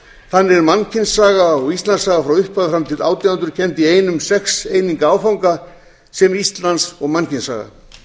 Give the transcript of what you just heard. þannig er mannkynssaga og íslandssaga frá upphafi fram til um átján hundruð kennd í einum sex eininga áfanga sem íslands og mannkynssaga